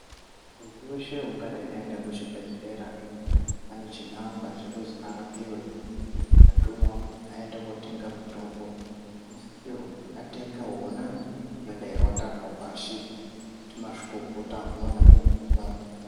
Muntu weshe ungadai aenda kuchibhedhlera ane chinangwa chekuzi arapiwe kana kutumwa kuti aende kundotenga mitombo anosisirwa kuti atenge wona unenge watarwa pashi ndimazvikokota anoona nezvehutano.